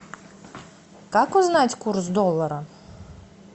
как узнать курс доллара